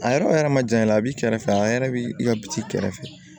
A yɛrɛ yɛrɛ ma janya a b'i kɛrɛfɛ a yɛrɛ bɛ ka bit'i kɛrɛfɛ